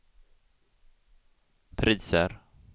priser